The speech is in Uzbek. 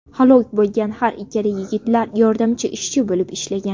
Halok bo‘lgan har ikkala yigitlar yordamchi ishchi bo‘lib ishlagan.